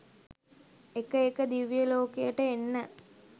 එක එක දිව්‍යලෝකයට එන්න